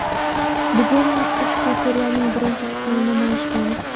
Bugun ushbu serialning birinchi qismini namoyish qilamiz.